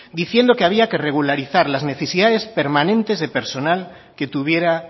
diciendo que había que regularizar las necesidades permanentes de personal que tuviera